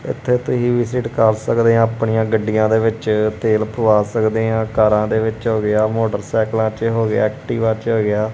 ਇਥੇ ਤੁਸੀਂ ਵੀ ਵਿਜ਼ਿਟ ਕਰ ਸਕਦੇ ਹਾਂ ਆਪਣੀਆਂ ਗੱਡੀਆਂ ਦੇ ਵਿੱਚ ਤੇਲ ਪਵਾ ਸਕਦੇ ਆਂ ਕਾਰਾਂ ਦੇ ਵਿੱਚ ਹੋ ਗਿਆ ਮੋਟਰ ਸਾਈਕਲਾਂ ਚ ਹੋ ਗਿਆ ਐਕਟੀਵਾ ਚ ਹੋ ਗਿਆ।